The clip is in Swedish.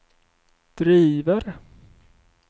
driver